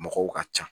Mɔgɔw ka ca